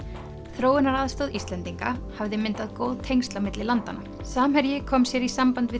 þróunaraðstoð Íslendinga hafði myndað góð tengsl á milli landanna samherji kom sér í samband við